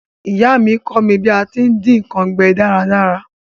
Ìyá mí kọ́ mí bí a ti n dín nkan gbẹ dáradára